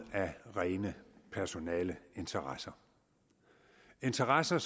af rene personaleinteresser interesser